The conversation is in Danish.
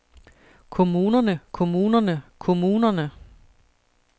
kommunerne kommunerne kommunerne